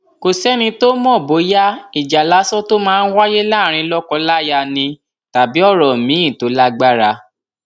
kò sẹni tó mọ bóyá ìjà lásán tó máa ń wáyé láàrin lọkọláya ni tàbí ọrọ míín tó lágbára